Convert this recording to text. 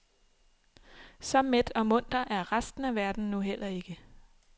Så mæt og munter er resten af verden nu heller ikke.